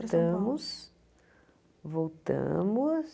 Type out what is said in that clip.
Para são paulo tamos, voltamos...